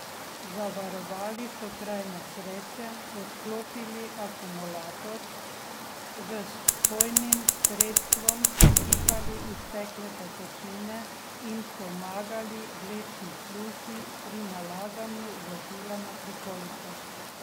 Zavarovali so kraj nesreče, odklopili akumulator, z vpojnim sredstvom posipali iztekle tekočine in pomagali vlečni službi pri nalaganju vozila na prikolico.